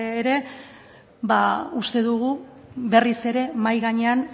ere uste dugu berriz ere mahai gainean